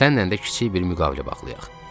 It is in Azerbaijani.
Sənnən də kiçik bir müqavilə bağlayaq.